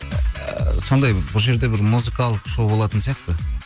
ыыы сондай бұл жерде бір музыкалық шоу болатын сияқты